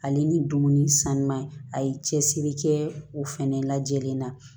Ale ni dumuni sanuman a ye cɛsiri kɛ u fana lajɛlen na